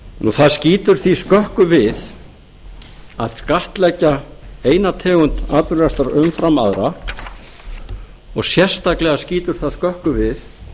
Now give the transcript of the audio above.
það skýtur því skökku við að skattleggja eina tegund atvinnurekstrar umfram aðra og sérstaklega skýtur það skökku við